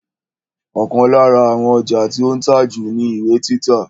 Ọ̀kan lára àwọn ọjà tí ó ń tà jù ni ìwé títa